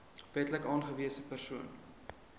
wetlik aangewese persoon